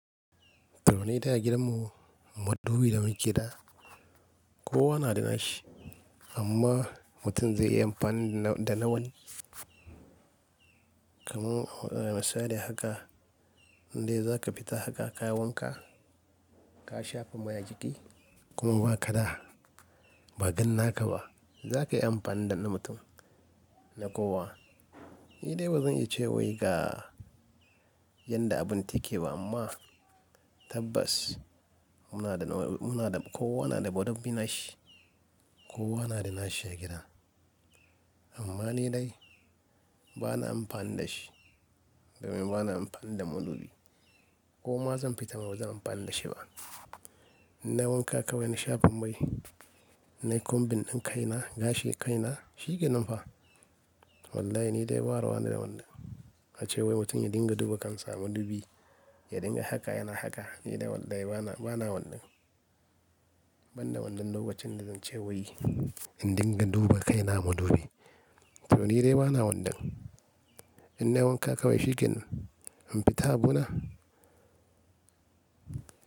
Toh mu dai a gidan mu mudubi da muke da, kowa na da nashi amma mutum zai yi amfani da na wani. Kamun misali haka, in dai za ka fita haka ka wanka, ka shafa mai a jiki kuma ba ka da ba dan naka ba, za ka yi amfani da na man ka na kowa. Ni dai bazan iya ce wai ga yanda abun take ba amma tabbas muna da, kowa na da mudubi nashi, kowa na da nashi a gidan. Amma ni dai bana amfani da shi domin bana amfani da mudubi. Koma zan fita bazan amfani da shi ba. In nai wanka kawai na shafa mai, na yi kumbin din kaina, gashi kaina shikenan fa. Wallahi ni dai ba ruwa na da wannan. Tabbas muna da, kowa na da mudubi nashi, kowa na da nashi a gidan. Ni dai wallahi bana, bana wannan.--. Ban da wannan lokacin da zan ce wai in dinga duba kaina a madubi. Toh ni dai bana wannan. In nai wanka kawai shikenan, in fita a buna.